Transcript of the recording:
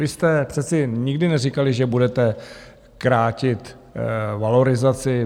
Vy jste přece nikdy neříkali, že budete krátit valorizaci.